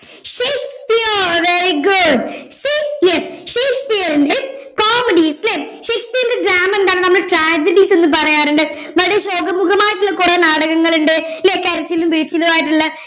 Shakespeare very good Shakespeare ഷേക്സ്പിയറിൻറെ tragedies ല്ലെ ഷേക്സ്പിയറിൻറെ drama എന്താണ് നമ്മൾ tragedies എന്ന് പറയാറുണ്ട് വളരെ ശോകമൂകമായിട്ടുള്ള കൊറേ നാടകങ്ങളുണ്ട് അല്ലെ കരച്ചിലും പിഴിച്ചിലുമായിട്ടുള്ള